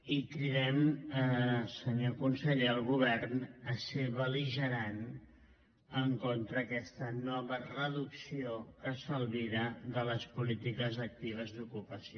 i cridem senyor conseller el govern a ser bel·ligerant contra aquesta nova reducció que s’albira de les polítiques actives d’ocupació